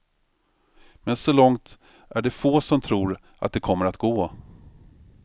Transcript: Men så långt är det få som tror att det kommer att gå.